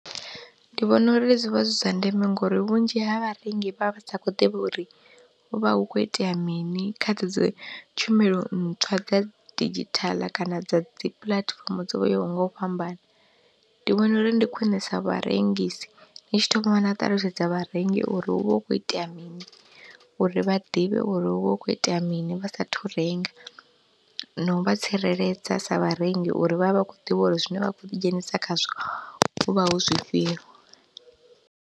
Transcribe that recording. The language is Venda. Ndi vhona uri zwivha zwi zwa ndeme ngori vhunzhi ha vharengi vha vha sa khou ḓivha uri hu vha hu kho itea mini kha dze dzi tshumelo ntswa dza didzhithaḽa kana dza dzi puḽatifomo dzo yaho nga u fhambana, ndi vhona uri ndi khwine sa vharengisi ni tshi thoma na ṱalutshedza vharengi uri hu vha hu khou itea mini uri vha ḓivhe uri hu vha hu khou itea mini vha sa thu renga, na u vha tsireledza sa vharengi uri vha vhe vha khou ḓivha uri zwine vha khou ḓi dzhenisa khazwo hu vha hu zwifhio.